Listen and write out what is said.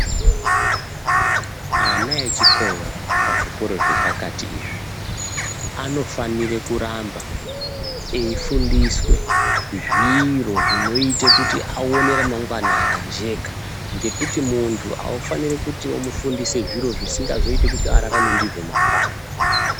Ana echikora pazvikoro zvepakati izvi. Anofanire kuramba eifundiswe zviro zvinote kuti aone ramangwana rakajeka. Ngekuti muntu haufaniri kuti vamufundise zviro zvisingazoiti kuti ararame ndizvo mangwani.